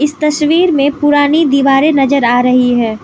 तस्वीर मे पुरानी दीवारें नज़र आ रही है।